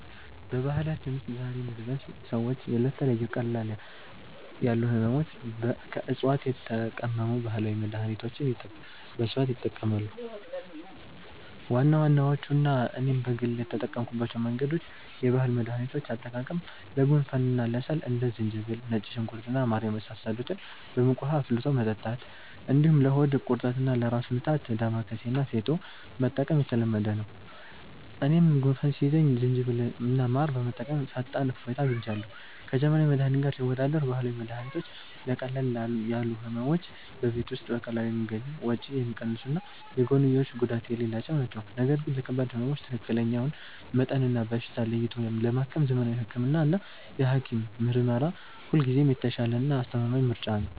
በባህላችን ውስጥ ዛሬም ድረስ ሰዎች ለተለያዩ ቀለል ያሉ ሕመሞች ከዕፅዋት የተቀመሙ ባህላዊ መድኃኒቶችን በስፋት ይጠቀማሉ። ዋና ዋናዎቹና እኔም በግል የተጠቀምኩባቸው መንገዶች፦ የባህል መድኃኒቶች አጠቃቀም፦ ለጉንፋንና ለሳል እንደ ዝንጅብል፣ ነጭ ሽንኩርት እና ማር የመሳሰሉትን በሙቅ ውኃ አፍልቶ መጠጣት፣ እንዲሁም ለሆድ ቁርጠትና ለራስ ምታት «ዳማከሴ» እና «ፌጦ» መጠቀም የተለመደ ነው። እኔም ጉንፋን ሲይዘኝ ዝንጅብልና ማር በመጠቀም ፈጣን እፎይታ አግኝቻለሁ። ከዘመናዊ መድኃኒት ጋር ሲወዳደር፦ ባህላዊ መድኃኒቶች ለቀለል ያሉ ሕመሞች በቤት ውስጥ በቀላሉ የሚገኙ፣ ወጪ የሚቀንሱና የጎንዮሽ ጉዳት የሌላቸው ናቸው። ነገር ግን ለከባድ ሕመሞች ትክክለኛውን መጠንና በሽታ ለይቶ ለማከም ዘመናዊ ሕክምናና የሐኪም ምርመራ ሁልጊዜም የተሻለና አስተማማኝ ምርጫ ነው።